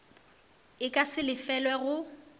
e ka se lefelelwe go